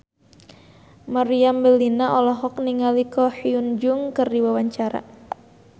Meriam Bellina olohok ningali Ko Hyun Jung keur diwawancara